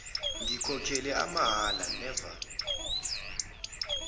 ngikhokhele amahhala never